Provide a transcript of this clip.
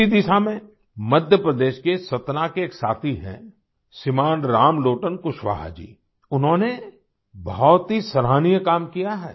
इसी दिशा में मध्य प्रदेश के सतना के एक साथी हैं श्रीमान रामलोटन कुशवाहा जी उन्होंने बहुत ही सराहनीय काम किया है